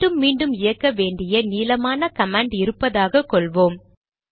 மீண்டும் மீண்டும் இயக்க வேண்டிய நீளமான கமாண்ட் இருப்பதாக கொள்வோம்